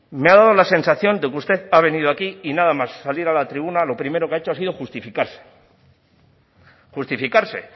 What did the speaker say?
me ha dado la sensación de que usted ha venido aquí y nada más salir a la tribuna lo primero que ha hecho ha sido justificarse justificarse